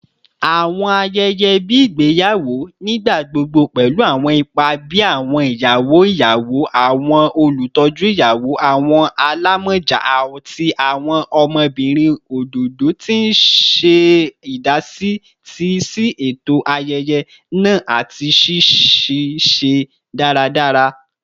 Awọn ayẹyẹ igbeyawo ni igbagbogbo pẹlu awọn ipa bii awọn iyawo iyawo, awọn olutọju iyawo, awọn alamọja, ati awọn ọmọbirin ododo, ti n ṣe idasi si eto ayẹyẹ naa ati ṣiṣiṣẹ daradara.